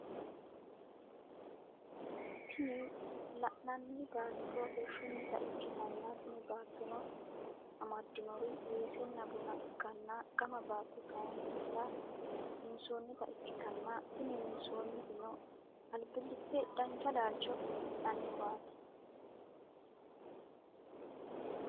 Tini lanani batto irishshunita ikitana tini battono amadinor wessena buna ikana gamma batto kayinila winisonita ikitana tini wisanitinotino alibilite danicha lalicho afinaniniwati